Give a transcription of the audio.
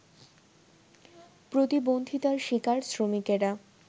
প্রতিবন্ধিতার শিকার শ্রমিকেরা